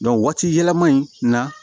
waati yɛlɛma in na